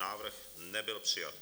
Návrh nebyl přijat.